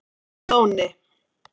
Máni